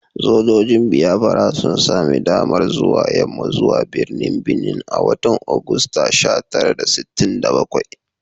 Sojojin Biafra sun sami damar zuwa yamma zuwa birnin Benin a watan Agusta sha tara da sittin da bakwai